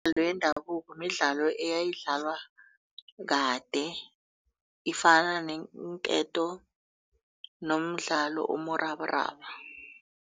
yendabuko midlalo eyayidlalwa kade ifana neenketo nomdlalo umrabaraba.